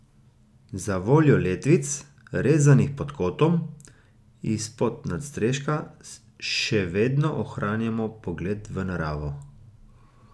Zavoljo letvic, rezanih pod kotom, izpod nadstreška še vedno ohranjamo pogled v naravo.